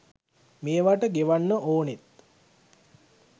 මේවට ගෙවන්න ඕනෙත්